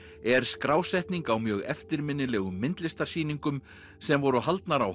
er skrásetning á mjög eftirminnilegum myndlistarsýningum sem voru haldnar á